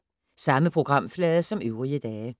Samme programflade som øvrige dage